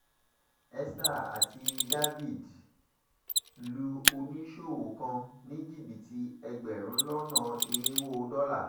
esther àti dávid lu oníṣòwò kan ní jìbìtì ẹgbẹ̀rún lọ́nà irínwó dọ́là